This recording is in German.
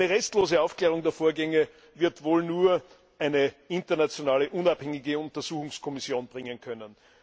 Eine restlose Aufklärung der Vorgänge wird wohl nur eine internationale unabhängige Untersuchungskommission bringen können.